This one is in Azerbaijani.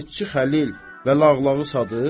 Qəzetçi Xəlil və lağlağı Sadiq?